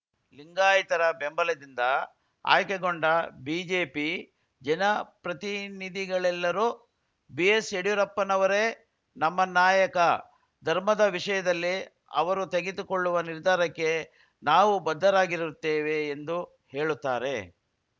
ಲಿಂಗಾಯತರ ಬೆಂಬಲದಿಂದ ಆಯ್ಕೆಗೊಂಡ ಬಿಜೆಪಿ ಜನ ಪ್ರತಿನಿಧಿಗಳೆಲ್ಲರೂ ಬಿಎಸ್‌ಯಡಿಯೂರಪ್ಪನವರೇ ನಮ್ಮ ನಾಯಕ ಧರ್ಮದ ವಿಷಯದಲ್ಲಿ ಅವರು ತೆಗೆದುಕೊಳ್ಳುವ ನಿರ್ಧಾರಕ್ಕೆ ನಾವು ಬದ್ಧರಾಗಿರುತ್ತೇವೆ ಎಂದು ಹೇಳುತ್ತಾರೆ